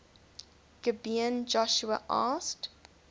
gibeon joshua asked